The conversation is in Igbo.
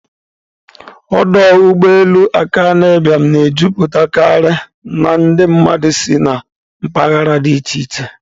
Ọdụ ụgbọ elu Akanu Ibiam na-ejupụtakarị ndị mmadụ si na mpaghara dị iche iche.